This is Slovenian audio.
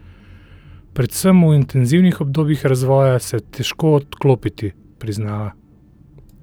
Predvsem v intenzivnih obdobjih razvoja se je težko odklopiti, priznava.